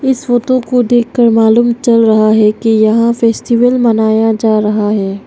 इस फोटो को देखकर मालूम चल रहा है कि यहां फेस्टिवल मनाया जा रहा है।